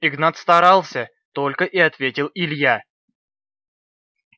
игнат старался только и ответил илья